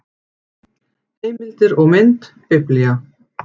Heimildir og mynd Biblía.